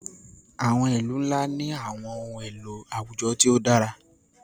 àwọn ilu nla ni àwọn ohun elo awujọ ti o dara.